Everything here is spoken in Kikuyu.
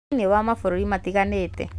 Thĩinĩ wa mabũrũri matiganĩte.